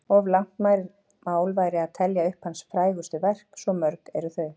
Of langt mál væri að telja upp hans frægustu verk, svo mörg eru þau.